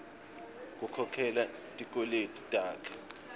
kukhokhela tikweleti takhe